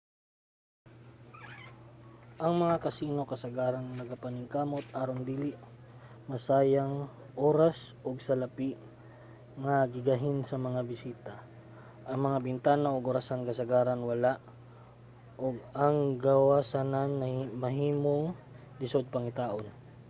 ang mga casino kasagaran nagapaningkamot aron dili masayang oras ug salapi nga gigahin sa mga bisita. ang mga bintana ug orasan kasagaran wala ug ang gawsanan mahimong lisod pangitaon